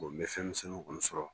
Bɔn n bɛ fɛn sɛbɛkɔrɔ sɔrɔ.